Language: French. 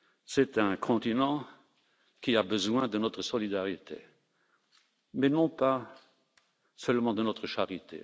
C'est un continent qui a besoin de notre solidarité. Mais non pas seulement de notre charité.